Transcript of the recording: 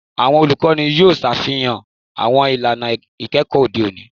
Awọn olukọni yoo ṣafihan awọn ilana ikẹkọ ode oni